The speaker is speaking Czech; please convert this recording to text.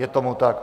Je tomu tak.